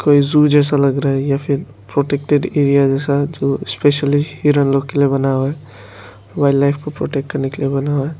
कोई जू जैसा लग रहा है या फिर प्रोटेक्टेड एरिया जैसा जो स्पेशली हिरन लोग के लिए बना हुआ है वाइल्डलाइफ को प्रोटेक्ट करने के लिए बना हुआ है।